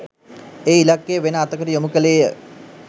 ඒ ඉලක්කය වෙන අතකට යොමු කළේය